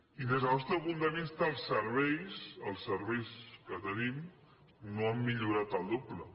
i des del nostre punt de vista els serveis els serveis que tenim no han millorat el doble